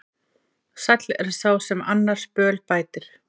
Sæll er sá sem annars böl bætir.